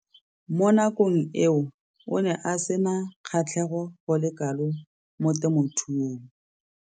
Mo nakong eo o ne a sena kgatlhego go le kalo mo temothuong.